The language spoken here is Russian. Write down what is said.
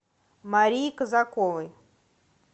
марии казаковой